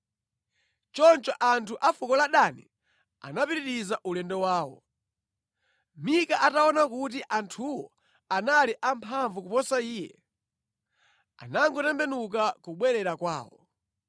Choncho anthu a fuko la Dani anapitiriza ulendo wawo. Mika ataona kuti anthuwo anali amphamvu kuposa iye, anangotembenuka kubwerera kwawo.